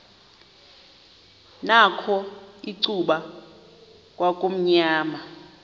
nakho icuba kwakumnyama